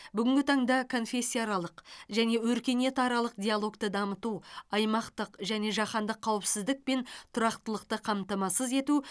бүгінгі таңда конфессияаралық және өркениетаралық диалогты дамыту аймақтық және жаһандық қауіпсіздік пен тұрақтылықты қамтамасыз ету